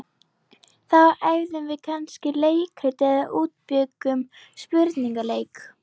Þá æfðum við kannski leikrit eða útbjuggum spurningaleik.